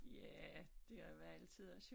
Ja det har været alle tiders jo